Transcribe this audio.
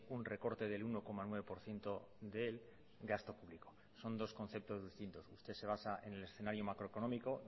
un recorte del uno coma nueve por ciento del gasto público son dos conceptos distintos usted se basa en el escenario macroeconómico